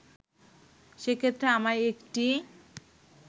সেক্ষেত্রে আমার একটি